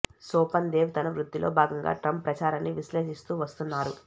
సోపన్ దేవ్ తన వృత్తిలో భాగంగా ట్రంప్ ప్రచారాన్ని విశ్లేషిస్తూ వస్తున్నారు